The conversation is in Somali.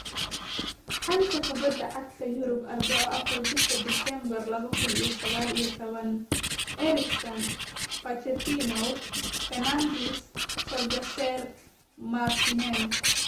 Xanta Kubadda Cagta Yurub Arbaco afaarta bishaa disembaar laba kuun iyo sagaal iyo tobaan: Eriksen, Pochettino, Fernandes, Solskjaer, Martinez